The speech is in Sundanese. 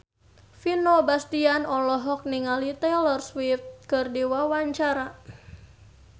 Vino Bastian olohok ningali Taylor Swift keur diwawancara